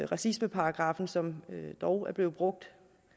racismeparagraffen som dog er blevet brugt